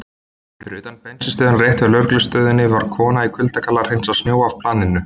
Fyrir utan bensínstöðina rétt hjá lögreglustöðinni var kona í kuldagalla að hreinsa snjó af planinu.